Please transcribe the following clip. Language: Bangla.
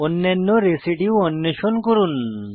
অন্যান্য রেসিডিউ অন্বেষণ করুন